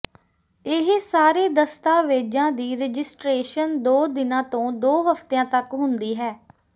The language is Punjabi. ਇਹ ਸਾਰੇ ਦਸਤਾਵੇਜ਼ਾਂ ਦੀ ਰਜਿਸਟਰੇਸ਼ਨ ਦੋ ਦਿਨਾਂ ਤੋਂ ਦੋ ਹਫਤਿਆਂ ਤੱਕ ਹੁੰਦੀ ਹੈ